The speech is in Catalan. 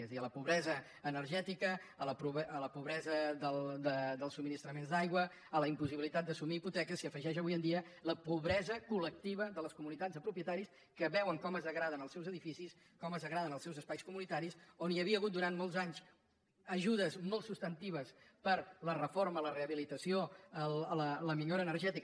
és a dir a la pobresa energètica a la pobresa dels subministraments d’aigua a la impossibilitat d’assumir hipoteques s’hi afegeix avui en dia la pobresa colles comunitats de propietaris que veuen com es degraden els seus edificis com es degraden els seus espais comunitaris on hi havia hagut durant molts anys ajudes molt substantives per a la reforma la rehabilitació la millora energètica